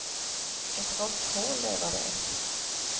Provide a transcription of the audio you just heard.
Ett råtthål, det är vad det är.